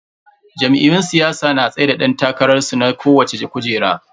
Jam'iyyun siyasa na tsaida dan takararsu na kowacce kujera.